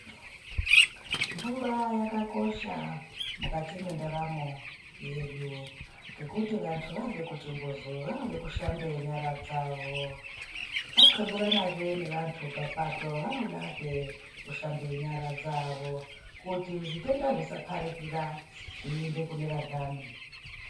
Mvura yakakosha mukati mwendaramo yedu ngekuti vanhu vabve kuchimbuzu vanode kushambe nyara dzavo ,vanxleburanazve nevantu papato vanodazve kushambe nyara dzavo kuti zvitenda zvisaparikira zveiende kune vanhani.